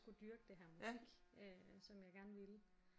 Kunne dyrke det her musik øh som jeg gerne ville